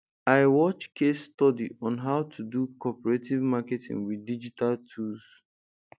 i watch case study on how to do cooperative marketing with digital tools